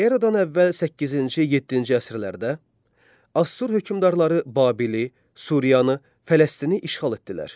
Eradan əvvəl 8-ci, 7-ci əsrlərdə Assur hökmdarları Babili, Suriyanı, Fələstini işğal etdilər.